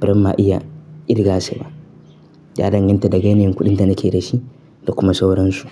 bari ma iya irga su ba. Ya danganta daga yanayin kuɗin da nake da shi da kuma sauransu.